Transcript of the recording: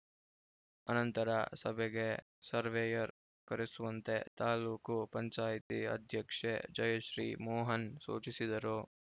ಅನಂತರ ಸಭೆಗೆ ಸರ್ವೇಯರ್‌ ಕರೆಸುವಂತೆ ತಾಲೂಕು ಪಂಚಾಯಿತಿ ಅಧ್ಯಕ್ಷೆ ಜಯಶ್ರೀ ಮೋಹನ್‌ ಸೂಚಿಸಿದರು